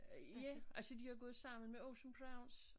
Øh ja altså de har gået sammen med Ocean Prawns